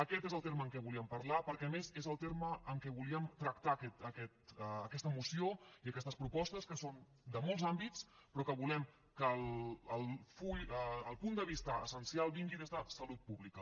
aquest és el terme amb què volíem parlar perquè a més és el terme amb què volíem tractar aquesta moció i aquestes propostes que són de molts àmbits però que volem que el full el punt de vista essencial vingui des de salut pública